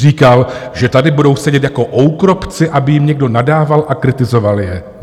Říkal, že tady budou sedět jako oukropci, aby jim někdo nadával a kritizoval je.